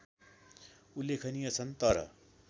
उल्लेखनीय छन् तर